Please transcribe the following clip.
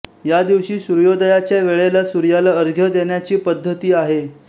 या दिवशी सूर्योदयाच्या वेळेला सूर्याला अर्घ्य देण्याची पद्धती आहे